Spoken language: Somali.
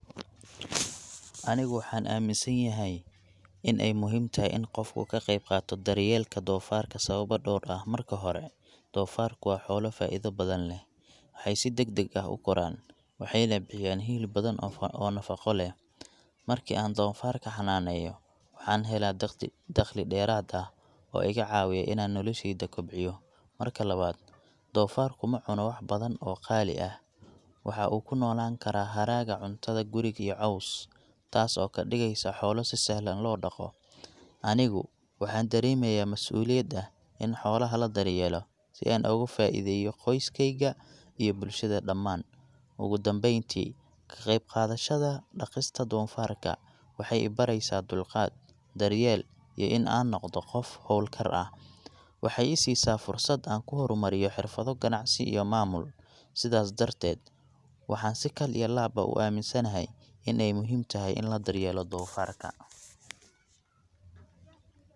Anigu waxaan aaminsanayahay in ay muhiim tahay in qofku ka qayb qaato daryeelka doofaarka sababo dhowr ah. Marka hore, doofaarku waa xoolo faa'iido badan leh. Waxay si degdeg ah u koraan, waxayna bixiyaan hilib badan oo nafaqo leh. Markii aan doofaarka xannaaneeyo, waxaan helaa dakhli dheeraad ah oo iga caawiya inaan nolosheyda kobciyo. Marka labaad, doofaarku ma cuno wax badan oo qaali ah. Waxa uu ku noolaan karaa hadhaaga cuntada guriga iyo caws, taas oo ka dhigaysa xoolo si sahlan loo dhaqo. Anigu waxaan dareemayaa mas’uuliyad ah in aan xoolaha daryeelo, si aan uga faa’iideeyo qoyskeyga iyo bulshada dhamaan. Ugu dambeyn tii, ka qayb qaadashada dhaqista doofaarka waxay i baraysaa dulqaad, daryeel, iyo in aan noqdo qof hawlkar ah. Waxa ay i siisaa fursad aan ku horumariyo xirfado ganacsi iyo maamul. Sidaas darteed, waxaan si kal iyo laab ah u aaminsanahay in ay muhiim tahay in la daryeelo doofarka.